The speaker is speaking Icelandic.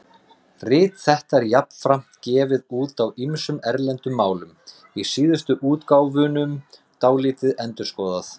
Rit þetta var jafnframt gefið út á ýmsum erlendum málum, í síðustu útgáfunum dálítið endurskoðað.